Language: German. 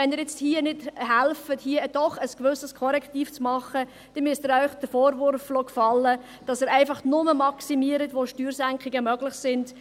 Wenn Sie hier nicht helfen, ein gewisses Korrektiv zu vorzunehmen, dann müssen Sie sich den Vorwurf gefallen lassen, dass Sie einfach maximieren, wo Steuersenkungen möglich sind.